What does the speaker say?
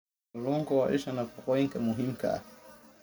Kalluunku waa isha nafaqooyinka muhiimka ah.